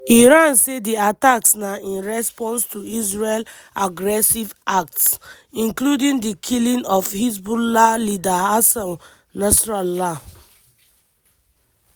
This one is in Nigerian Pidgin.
iran say di attacks na in response to israel "aggressive acts" including di killing of hezbollah leader hassan nasrallah.